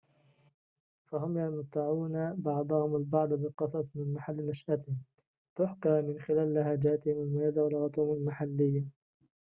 فهم يمتعون بعضهم البعض بقصص من محل نشأتهم تُحكى من خلال لهجاتهم المميزة ولغتهم المحلية